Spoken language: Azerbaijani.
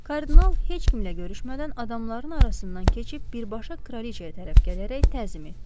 Kardinal heç kimlə görüşmədən adamların arasından keçib birbaşa kraliçaya tərəf gələrək təzim etdi.